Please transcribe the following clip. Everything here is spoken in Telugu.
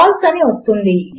ఫాల్సే అని వస్తుంది